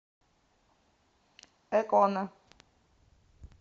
экона